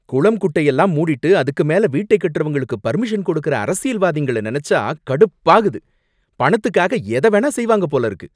குளம் குட்டை எல்லாம் மூடிட்டு, அதுக்கு மேல வீட்டை கட்டுறவங்களுக்கு பர்மிஷன் கொடுக்கிற அரசியல்வாதிகளை நினைச்சா கடுப்பாகுது. பணத்துக்காக எதவேணா செய்வாங்க போல இருக்கு!